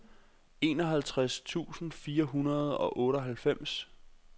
enoghalvtreds tusind fire hundrede og otteoghalvfems